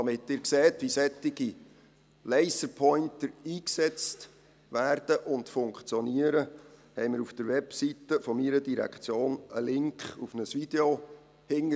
Damit Sie sehen, wie solche Laserpointer eingesetzt werden und funktionieren, haben wir auf der Webseite meiner Direktion einen Link auf ein Video hinterlegt.